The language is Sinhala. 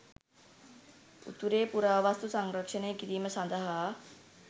උතුරේ පුරාවස්තු සංරක්‍ෂණය කිරීම සඳහා